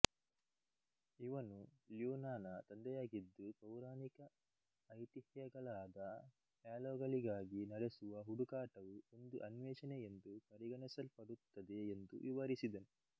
ಇವನು ಲ್ಯೂನಾನ ತಂದೆಯಾಗಿದ್ದು ಪೌರಾಣಿಕ ಐತಿಹ್ಯಗಳಾದ ಹ್ಯಾಲೋಗಳಿಗಾಗಿ ನಡೆಸುವ ಹುಡುಕಾಟವು ಒಂದು ಅನ್ವೇಷಣೆ ಎಂದು ಪರಿಗಣಿಸಲ್ಪಡುತ್ತದೆ ಎಂದು ವಿವರಿಸಿದನು